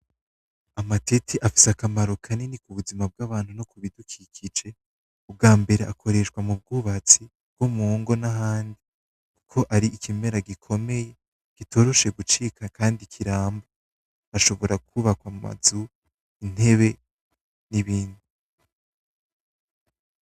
Amatete afise akamaro kanini kubuzima bgabantu, no kubidukikije ,bgambere akoreshwa mu bgubatsi, no mungo nahandi ko ari ikimera gikomeye gitoroshe gucibga kandi kiramba ashobora kubaka amazu, intebe, n'ibindi.